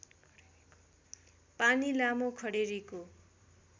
पानी लामो खडेरीको